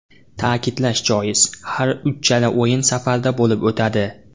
Ta’kidlash joiz, har uchala o‘yin safarda bo‘lib o‘tadi.